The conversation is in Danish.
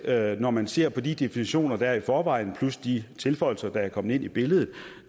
at når man ser de definitioner der er i forvejen plus de tilføjelser der er kommet ind i billedet